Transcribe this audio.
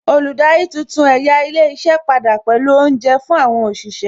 Olùdarí tuntun ẹ̀yà ilé iṣẹ́ padà pẹ̀lú Oúnjẹ fún àwọn òṣìṣẹ́